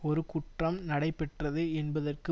ஒரு குற்றம் நடைபெற்றது என்பதற்கு